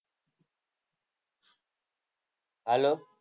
hello